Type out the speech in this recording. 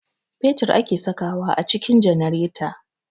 Fetir ake sakawa a cikin janareta